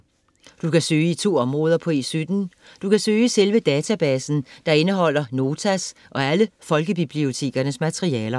Du kan søge i 2 områder på E17. Du kan søge i selve databasen, der indeholder Notas og alle folkebibliotekernes materialer.